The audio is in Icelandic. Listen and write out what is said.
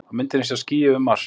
Á myndinni sjást ský yfir Mars.